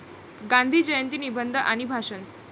गांधी जयंती निबंध आणि भाषण